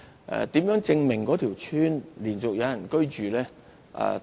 如何證明一條村落連續有人居住呢？